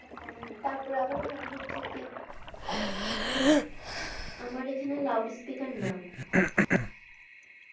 তাতে আবার হচ্ছে কি আমার এখানে loud speaker না।